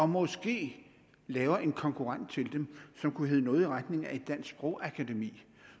måske laver en konkurrent til dem som kunne hedde noget i retning af et dansk sprogakademi